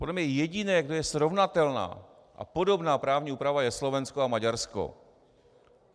Podle mě jediné, kde je srovnatelná a podobná právní úprava, je Slovensko a Maďarsko.